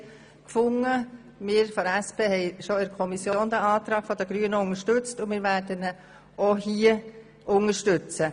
Seitens der SP haben wir den Antrag der Grünen bereits in der Kommission unterstützt und wir werden diesen auch hier unterstützen.